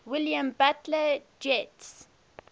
william butler yeats